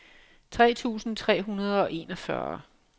tre tusind tre hundrede og enogfyrre